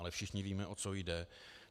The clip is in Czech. Ale všichni víme, o co jde.